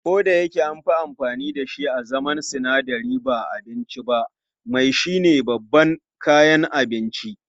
Kodayake anfi amfani dashi a zaman sinadari ba abinci ba, mai shine babban kayan abinci.